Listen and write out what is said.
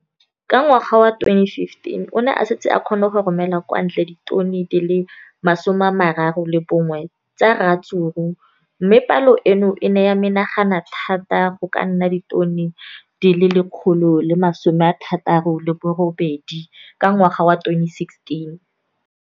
Ka ngwaga wa 2015, o ne a setse a kgona go romela kwa ntle ditone di le 31 tsa ratsuru mme palo eno e ne ya menagana thata go ka nna ditone di le 168 ka ngwaga wa 2016.